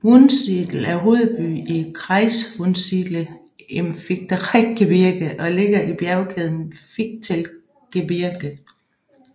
Wunsiedel er hovedby i kreis Wunsiedle im Fichtelgebirge og ligger i bjergkæden Fichtelgebirge